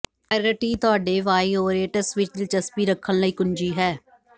ਵਾਇਰਟੀ ਤੁਹਾਡੇ ਵਾਈਉਰੇਟਸ ਵਿਚ ਦਿਲਚਸਪੀ ਰੱਖਣ ਲਈ ਕੁੰਜੀ ਹੈ